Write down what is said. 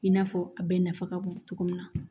I n'a fɔ a bɛɛ nafa ka bon cogo min na